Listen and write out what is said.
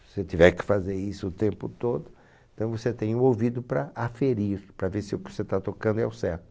Se você tiver que fazer isso o tempo todo, então você tem o ouvido para aferir, para ver se o que você está tocando é o certo.